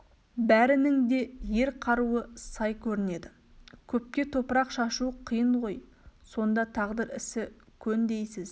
бәрінің де ер қаруы сай көрінеді көпке топырақ шашу қиын ғой сонда тағдыр ісі көн дейсіз